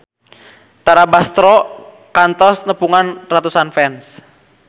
Tara Basro kantos nepungan ratusan fans